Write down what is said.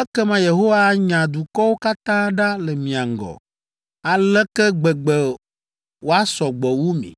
ekema Yehowa anya dukɔwo katã ɖa le mia ŋgɔ, aleke gbegbe woasɔ gbɔ wu mi,